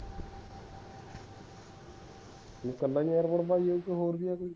ਤੂੰ ਕੱਲਾ ਈ ਏਂ ਭਾਈ ਜਾ ਹੋਰ ਵੀ ਏ